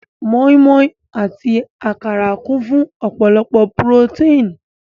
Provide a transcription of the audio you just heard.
Mọ́í-mọ́í àti àkàrà kún fún ọ̀pọ̀lọpọ̀ purótéìn.